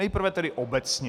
Nejprve tedy obecně.